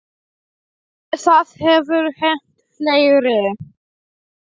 Það hefur hent fleiri.